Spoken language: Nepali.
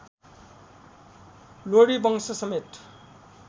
लोधी वंश समते